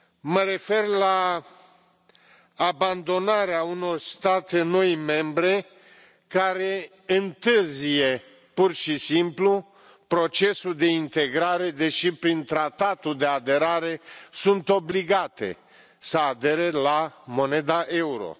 Mă refer la abandonarea unor state care au devenit membre recent și care întârzie, pur și simplu, procesul de integrare, deși prin tratatul de aderare sunt obligate să adere la moneda euro.